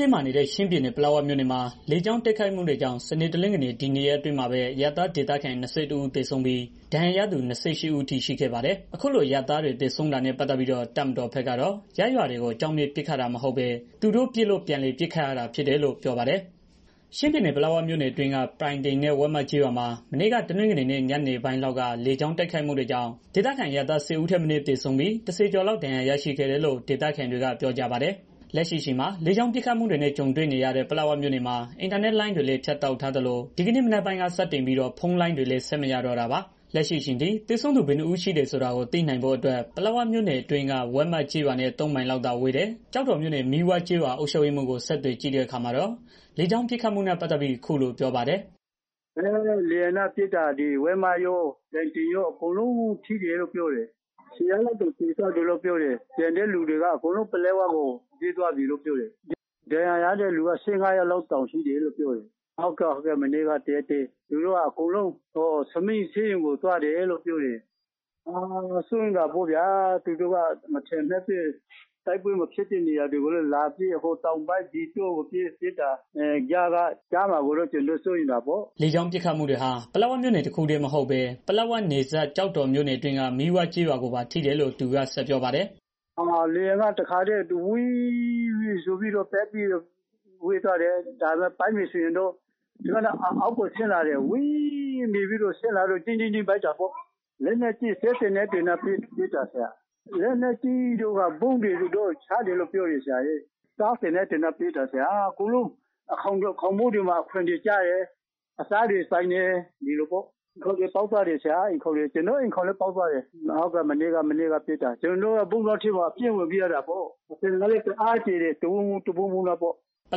တင်းမာနေတဲ့ ချင်းပြည်နယ် ပလက်ဝမြို့နယ်မှာ လေကြောင်းတိုက်ခိုက်မှုတွေကြောင့် စနေ၊ တနင်္ဂနွေ ဒီနှစ်ရက်အတွင်းမှာပဲ အရပ်သားဒေသခံ ၂၁ ဦး သေဆုံးပြီး၊ ဒဏ်ရာရသူ ၂၈ ဦးအထိ ရှိခဲ့ပါတယ်။ အခုလိုအရပ်သားတွေ သေဆုံးတာနဲ့ ပတ်သတ်ပြီးတော့ တပ်မတော်ဘက်ကတော့ ရပ်ရွာတွေကို အကြောင်းမဲ့ ပစ်ခတ်တာ မဟုတ်ပဲ သူတို့ပစ်လို့ပြန်လည်ပစ်ခတ်ရတာလို့ ပြောပါတယ်။ ချင်းပြည်နယ် ပလက်ဝမြို့နယ်အတွင်းက ပြိုင်တင်နဲ့ ဝက်မကျေးရွာမှာ မနေ့က တနင်္ဂနွေနေ့ ညနေပိုင်းလောက်က လေကြောင်းတိုက်ခိုက်မှုတွေကြောင့် ဒေသခံအရပ်သား ၁၀ ဦးထက်မနည်း သေဆုံးပြီး ၁၀ ကျော်လောက် ဒဏ်ရာရရှိခဲ့တယ်လို့ ဒေသခံတွေက ပြောကြပါတယ်။ လက်ရှိအချိန်မှာ လေကြောင်း ပစ်ခတ်မှုတွေနဲ့ ကြုံတွေ့နေရတဲ့ ပလက်ဝမြို့နယ်မှာ အင်တာနက်လိုင်းတွေလည်း ဖြတ်တောက်ထားသလို ဒီကနေ့မနက်ပိုင်းက စတင်ပြီး ဖုန်းလိုင်းတွေလည်း ဆက်မရတော့တာပါ။ လက်ရှိအချိန်ထိ သေဆုံးသူ ဘယ်နှစ်ဦးရှိတယ်ဆိုတာကို သိနိုင်ဖို့အတွက် ပလက်ဝမြို့နယ်နဲ့ အတွင်းက ဝက်မကျေးရွာနဲ့ ၃ မိုင်လောက်သာဝေးတဲ့ ကျောက်တော်မြို့နယ် မီးဝကျေးရွာအုပ်ချုပ်ရေးမှူးကို ဆက်သွယ်ကြည့်တဲ့အခါမှာတာ့ လေကြောင်းပစ်ခတ်မှုနဲ့ ပတ်သတ်ပြီး အခုလိုပြောပါတယ်။ "လေယာဉ်နဲ့ ပစ်တာ ဝက်မကျေးရွာတို့ ပြိုင်တိုင်ကျေးရွာတို့ အကုန်လုံးထိတယ်လို့ ပြောတယ်။ ၁၀ယောက် လောက်တောင် သေသွားတယ်လို့ ပြောတယ်။ ကျန်တဲ့ သူတွေက အကုန်လုံး ပလက်ဝ မြို့ပေါ်ကို ပြေးသွားကြတယ်လို့ ပြောတယ်။ ဒဏ်ရာရတဲ့ သူက ၁၅ ယောက်လောက် ရှိတယ်လို့ ပြောတယ်။ စိုးရိမ်တာပေါ့ဗျာ သူတို့က မထင်မှတ်ပဲ တိုက်ပွဲမဖြစ်ပဲ တိုက်ပွဲမဖြစ်တဲ့ နေရာတွေကိုလည်း လာပြီးတော့ ဟိုတောင်ကိုပစ် ဒီတောင်ကိုပစ်နဲ့ ဆိုတော့ ကြားမှာ ကျနော်တို့ကို ထိမှာကိုကြောက်တယ်။ " လေကြောင်းပစ်ခတ်တွေဟာ ပလက်ဝမြို့နယ် တခုတည်းမဟုတ်ဘဲ ပလက်ဝနယ်စပ် ကျောက်တော်မြို့နယ်အတွင်းက မီးဝကျေးရွာ ကိုပါထိတယ်လို့ သူက ဆက်ပြောပါတယ်။ "လေယာဉ်က ပစ်တာကတော့ စက်သေနတ်တွေနဲ့ ပစ်တယ် ဗုံးတွေလည်း ချတယ်။ စက်သေနတ်တွေနဲ့ ပစ်တာကတော့ အကုန်လုံး အိမ်ခေါင်တွေ၊ ခေါင်မိုးတွေမှာ ကျတယ်။ အိမ်ခေါင်တွေ ပေါက်သွားကြတယ်။ ကျနော့် အိမ်လည်းပေါက်သွားတယ်။ မနေ့က တစ်နေလုံး ဗုံးတွင်းထဲမှာ ပြေးဝင်ပြီးတော့ နေကြရတယ်။ အသံက လည်းတစ်အားမြည်တာ တဝုန်းဝုန်း တဗုန်းဗုန်းနဲ့ပေါ့။" ပလ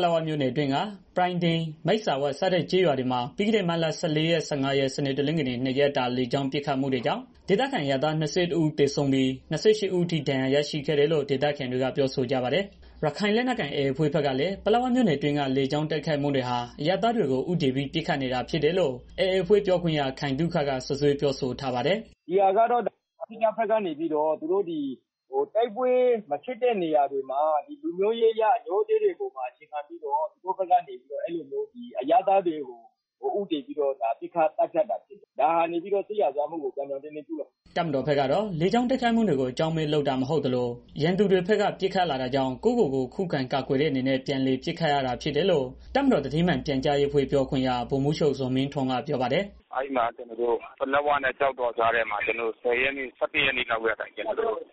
က်ဝမြို့နယ်အတွင်းက ပြိုင်တိန် မိတ်စာဝ စတဲ့ ကျေးရွာတွေမှာ ပြီးခဲ့တဲ့ မတ်လ ၁၄ ရက် ၁၅ ရက် စနေ၊ တနင်္ဂနွေ နှစ်ရက်တာ လေကြောင်းပစ်ခတ်မှုတွေကြောင့် ဒေသခံအရပ်သား ၂၁ ဦး သေ ဆုံးပြီး ၂၈ ဦးအထိ ဒဏ်ရာရတာရှိတယ်လို့ ဒေသခံတွေက ပြောဆိုကြပါတယ်။ ရခိုင်လက်နက်ကိုင် AA အဖွဲ့ဘက်ကလည်း ပလက်ဝမြို့နယ်အတွင်းက လေကြောင်းတိုက်ခိုက်မှုတွေဟာ အရပ်သားတွေကို ဦးတည်ပြီးပစ်ခတ်နေတာဖြစ်တယ်လို့ AA အဖွဲ့ပြောခွင့်ရ ခိုင်သုခက စွပ်စွဲပြောဆိုထားပါတယ်။ "ဒီဟာကတော့ သူတို့ဘက်က လူမျိုးရေး အငြိုးအတေးပေါ်မှာ အခြေခံပြီးတော့ အရပ်သားတွေကို ဦးတည်ပြီးတော့ ပစ်ခတ်သတ်ဖြတ်တာဖြစ်တယ်။ ဒါက စစ်ရာဇဝတ်မှုကို ပြောင်းပြောင်းတင်းတင်း ကျုးလွန်တာဖြစ်တယ်။" တပ်မတော်ဘက်ကတော့ လေကြောင်းတိုက်ခိုက်မှုတွေကို အကြောင်းမဲ့ လုပ်တာမဟုတ်သလို ရန်သူတွေဘက်က ပစ်ခတ်လာတာကြောင့် ကိုယ့်ကိုကိုယ်ခုခံကာကွယ်တဲ့ အနေနဲ့ ပြန်လည် ပစ်ခတ်ရတာ ဖြစ်တယ်လို့ တပ်မတော်သတင်းမှန်ပြန်ကြားရေအဖွဲ့ ပြောခွင့်ရ ဗိုလ်မှူးချုပ် ဇော်မင်းထွန်းက ပြောပါတယ်။ "ပလက်ဝနဲ့ ကျောက်တော်ကြားထဲမှာ ကျနော်တို့ ၁၀ ရက် ၁၁ ရက်နေ့လောက်ကတည်းက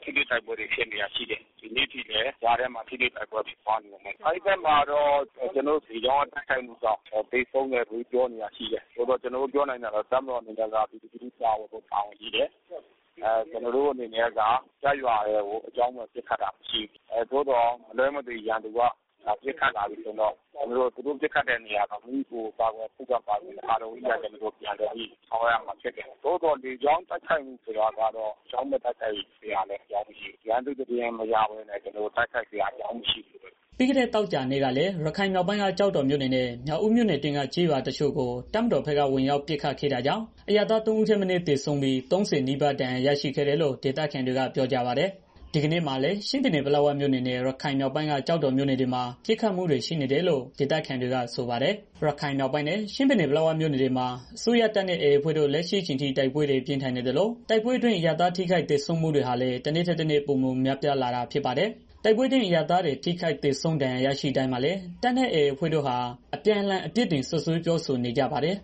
ထိတွေ့တိုက် ပွဲဖြစ်နေတာရှိတယ်။ ဒီနေ့အထိလည်း ဖြစ်နေတယ်။ အဲဒီမှာ ကျနော်တို့ လေကြောင်းတိုက်ခိုက်မှုတွေကြောင့် သေဆုံးသူတွေ ရှိတယ်လို့ ပြောနေတာတွေ ရှိတယ်။ ကျနော်တို့ ပြောနိုင်တာက ကျနော်တို့ အနေနဲ့ ပြည်သူလူထုကို ကာကွယ်ဖို့ တာဝန်ရှိတယ်။ ကျနော်တို့ အနေနဲ့က ရပ်ရွာတွေကို အကြောင်းမဲ့ ပစ်တာမရှိဘူး။ သို့သော် မလွဲမ သွေ ရန်သူက ပစ်ခတ်လာပြီဆိုရင်တော့ သူတို့ပစ်ခတ်တဲ့နေရာတွေကို မိမိကိုယ်ကို ခုခံကာကွယ်တဲ့အနေနဲ့ ပြန်လည် ပစ်ခတ်ရတာ ရှိတယ်။ လေကြောင်းတိုက်ခိုက်မှု ဆိုတာကတော့ ရန်သူ့သတင်းမရဘဲ ကျနော်တို့ တိုက်ခိုက်စရာအကြောင်း မရှိဘူး။" ပြီးခဲ့တဲ့သောကြာနေ့ကလည်း ရခိုင်မြောက်ပိုင်းက ကျောက်တော်မြို့နယ်နဲ့ မြောက်ဦးမြို့နယ် အတွင်းက ကျေးရွာ တချို့ကို တပ်မတော်ဘက်က ဝင်ရောက်ပစ်ခတ်ခဲ့တာကြောင့် အရပ်သား ၃ ဦးထက်မနည်း သေဆုံးပြီး ၃၀ နီးပါး ဒဏ်ရာရရှိခဲ့တယ်လို့ ဒေသခံတွေက ပြောပါတယ်။ ဒီကနေ့မှာလည်း ချင်းပြည်နယ် ပလက်ဝမြို့နယ်နဲ့ ရခိုင်မြောက်ပိုင်းက ကျောက်တော်မြို့နယ်တွေမှာ ပစ်ခတ်မှုတွေ ရှိနေတယ်လို့ ဒေသခံတွေက ဆိုပါတယ်။ ရခိုင်မြောက်ပိုင်းနဲ့ ချင်းပြည်နယ် ပလက်ဝမြို့နယ်တွေမှာ အစိုးရတပ်နဲ့ AA အဖွဲ့တို့လက်ရှိအချိန်ထိ တိုက်ပွဲတွေ ပြင်းထန်နေသလို တိုက်ပွဲ အရပ်သား ထိခိုက်သေဆုံးမှုတွေဟာလည်း တနေ့ထက်တနေ့ ပိုမိုများပြားလာတာ ဖြစ်ပါတယ်။ တိုက်ပွဲအတွင်း အရပ်သားတွ သေဆုံးထိခိုက်ဒဏ်ရာ ရရှိတိုင်းမှာလည်း တပ်နဲ့ AA အဖွဲ့တို့ အပြန် အလှန် အပြစ်တင်စွပ်စွဲပြောဆိုနေကြပါတယ်